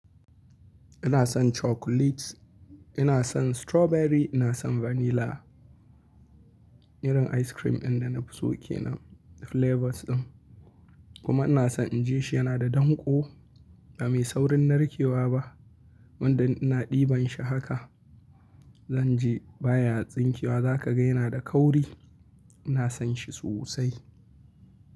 Ina son chocolates, ina son strawberry, ina son vanilla. Irin ice cream inda na fi so ke na flavors din. Kuma ina son in ji shi yana da danƙo ba mai saurin narkewa ba. Wanda ina ɗiban shi haka, zan je baya tsinke wa za ka gani yana da kauri. Ina son shi sosai.